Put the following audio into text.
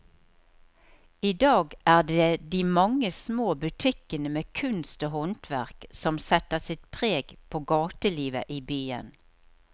I dag er det de mange små butikkene med kunst og håndverk som setter sitt preg på gatelivet i byen.